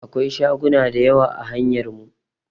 Akwai shagona da yawa a hanyar mu.